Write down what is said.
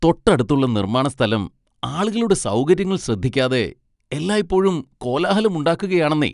തൊട്ടടുത്തുള്ള നിർമ്മാണ സ്ഥലം ആളുകളുടെ സൗകര്യങ്ങൾ ശ്രദ്ധിക്കാതെ എല്ലായ്പ്പോഴും കോലാഹലം ഉണ്ടാക്കുകയാണെന്നേ!